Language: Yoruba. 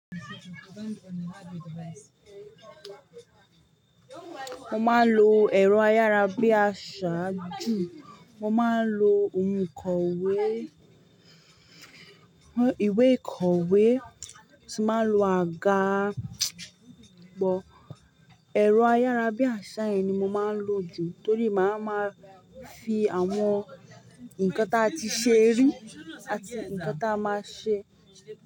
Mo máa ń lo ẹ̀rọ ayárabíàsá jù, mo máa ń lo òǹkọ́wé, ìwé ìkọ̀wé, mo sì máa ń lo àga but. Ẹ̀rọ ayárabíàsá yẹn ni mo máa ń lò jù torí màá máa fi àwọn nkan tí a ti ṣe rí àti ǹkan tí a máa ṣe.